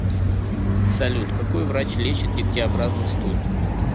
салют какой врач лечит дегтеобразный стул